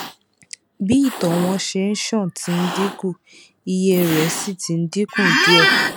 bí ìtọ wọn ṣe ń ṣàn ti ń dínkù iye rẹ sì ti dínkù díẹ